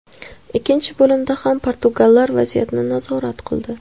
Ikkinchi bo‘limda ham portugallar vaziyatni nazorat qildi.